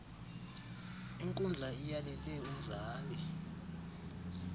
inkundla iyalele umzali